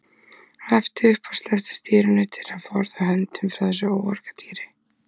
Hann æpti upp og sleppti stýrinu til að forða höndunum frá þessu óargadýri.